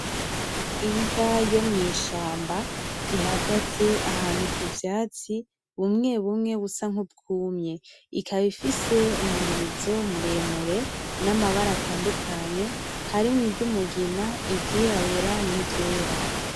Imbwa yo mwishamba ihagaze ahantu ku vyatsi, bumwe bumwe busa nk'ubwumye, ikaba ifise umurizo muremure ,n'amabara atandukanye harimwo iry'umugina, iryirabura ,n'iryera.